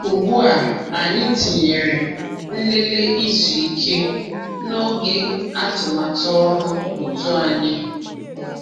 Ugbu a, anyị tinyere "nlele izu ike" n’oge atụmatụ ọrụ òtù anyị.